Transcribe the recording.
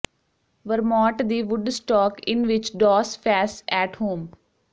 Vermont ਦੀ Woodstock inn ਵਿਚ ਡੌਸ ਫੈਸ ਐਟ ਹੋਮ